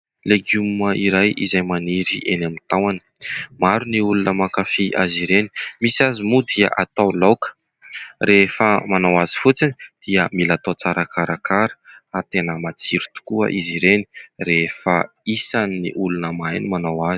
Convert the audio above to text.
Legioma iray izay maniry eny amin'ny tahony. Maro ny olona mankafia azy ireny, misy aza moa dia atao laoka. Rehefa manao azy fotsiny dia mila atao tsara karakara ary tena matsiro tokoa izy ireny rehefa isan'ny ny olona mahay no manao azy.